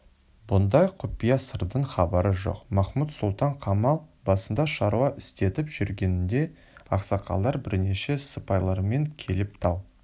бұндай құпия сырдан хабары жоқ махмуд-сұлтан қамал басында шаруа істетіп жүргенінде ақсақалдар бірнеше сыпайлармен келіп тал